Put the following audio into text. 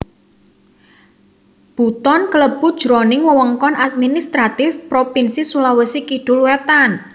Buton klebu jroning wewengkon administratif Propinsi Sulawesi Kidul wétan